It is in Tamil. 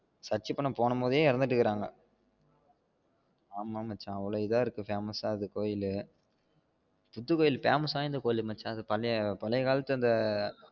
Search பண்ண போகும் போதே இறந்திட்டு இருகாங்க ஆமா மச்சான் அவ்ளோ இதா இருக்க famous அந்த கோவில் புத்து கோயில் famous வாய்ந்த கோவில் மச்சான் அது பழைய காலத்துள்ள அந்த